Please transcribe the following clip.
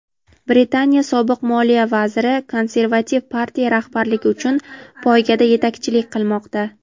Britaniya sobiq moliya vaziri Konservativ partiya rahbarligi uchun poygada yetakchilik qilmoqda.